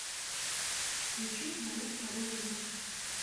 включи мое второе я